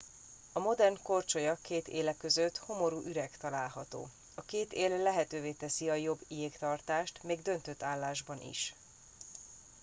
a modern korcsolya két éle között homorú üreg található a két él lehetővé teszi a jobb jégtartást még döntött állásban is